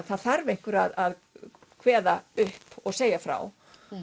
það þarf einhver að kveða upp og segja frá